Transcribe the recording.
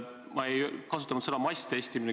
Ma ei kasutanud sõna "masstestimine".